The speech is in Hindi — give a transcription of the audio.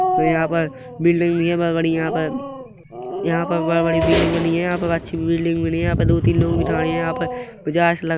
यहाँ पर बिल्डिंग बनी हैं यहाँ पर बहोत बड़ी बहोत बड़ी यहाँ पर अच्छी बिल्डिंग बनी हैं यहाँ पर दो तीन लोग भी खड़े हैं यहाँ पर मुझे ऐसा लग--